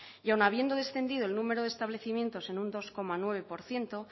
y aun habiendo descendido el número de establecimientos en un dos coma nueve por ciento